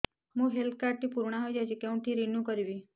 ମୋ health card ଟି ପୁରୁଣା ହେଇଯାଇଛି କେଉଁଠି ରିନିଉ କରିବି